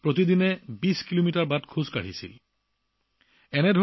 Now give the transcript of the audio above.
প্ৰতিদিনে প্ৰায় বিশ কিলোমিটাৰ খোজ কাঢ়িবলগীয়া হৈছিল